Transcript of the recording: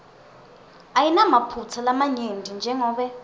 ayinamaphutsa lamanyenti jengobe